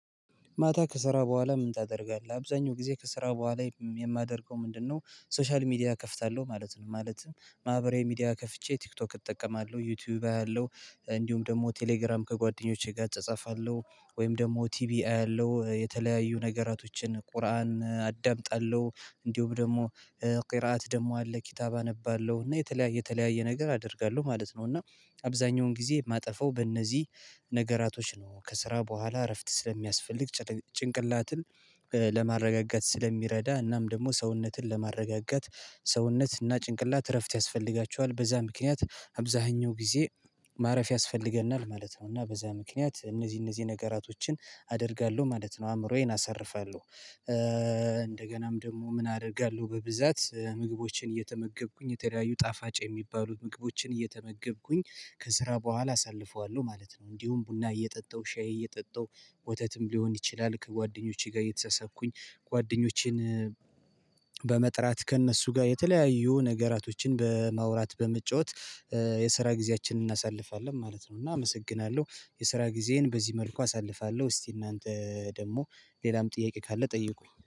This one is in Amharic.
ማታ ከስራ በኋላ ምን ታደርጋለህ? አብዛኛው ጊዜ ከስራ በኋላ የማደርገው ምንድነው ሶሻል ሚዲያ እከፍታለሁ ማለት ነው። ማለት ማህበራዊ ሚዲያ ከፍቼ ቲክቶክ እጠቀማለሁ ዩቲዩብ አያለሁ እንዲሁም ደግሞ ቴሌግራም ከጓደኞቼ ጋር እጻጸፋለሁ ወይም ደግሞ ቲቢ አያለው የተለያዩ ነገራቶችን ቁርአን አዳምጣለሁ እንዲሁም ደግሞ ቂርኣት ደሞ አለ ኪታብ አነባለሁ እና የተለያየ የተለያየ ነገር አደርጋለሁ ማለት ነው። እና አብዛኛውን ጊዜ ማጠፋው በእነዚህ ነገራቶች ነው። ከስራ በኋላ እረፍት ስለሚያስፈልግ ጭንቅላትን ለማረጋጋት ስለሚረዳ እናም ደሞ ሰውነትን ለማረጋጋት ሰውነት እና ጭንቅላት እረፍት ያስፈልጋቸዋል። በዛ ምክንያት አብዛኛው ጊዜ ማረፍ ያስፈልገናል ማለት ነው። እና በዛ ምክንያት እነዚህ እነዚህ ነገራቶችን አደርጋለሁ ማለት ነው። አእምሮዬን አሰርፋለሁ። ኧ እንደገናም ደግሞ ምን አደርጋለሁ በብዛት ምግቦችን እየተመገብኩኝ የተለያዩ ጣፋጭ የሚባሉ ምግቦችን እየተመገብኩኝ ከስራ በኋላ አሳልፈዋለሁ ማለት ነው። እንዲሁም ቡና እየጠጣሁ ሻይ እየጠጣሁ ወተትም ሊሆን ይችላል። ከጓደኞቼ ጋር እየተሳሳቅኩኝ ጓደኞቼን በመጥራት ከእነሱ ጋር የተለያዩ ነገራቶችን በማውራት በመጫወት ኧ የስራ ጊዜያችንን እናሳልፋለን ማለት ነው። እና አመሰግናለሁ። የስራ ጊዜዬን በዚህ መልኩ አሳልፋለሁ እስቲ እናንተ ደግሞ ሌላም ጥያቄ ካለ ጠይቁኝ